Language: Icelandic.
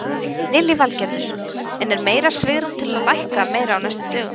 Lillý Valgerður: En er meira svigrúm til lækka meira á næstu dögum?